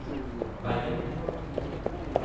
veien